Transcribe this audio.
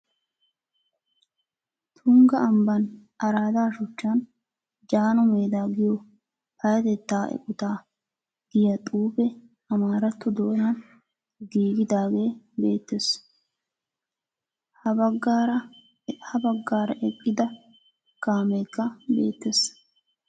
Tungga ambban araada shuchchan jaano medaa giyo payatettaa eqotaa giya xuufe amaaratto doonaan gigidaage beettees, ha baggaara eqqida kaameekka beettees.